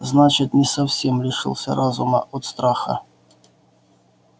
значит не совсем лишился разума от страха